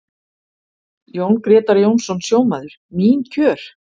Jón Grétar Jónsson, sjómaður: Mín kjör?